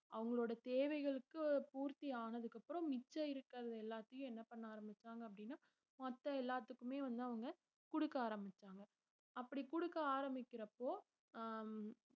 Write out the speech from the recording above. அவங்களோட தேவைகளுக்கு பூர்த்தியானதுக்கு அப்புறம் மிச்சம் இருக்கிறது எல்லாத்தையும் என்ன பண்ண ஆரம்பிச்சாங்க அப்படின்னா மத்த எல்லாத்துக்குமே வந்து அவங்க குடுக்க ஆரம்பிச்சாங்க அப்படி குடுக்க ஆரம்பிக்கிறப்போ ஆஹ்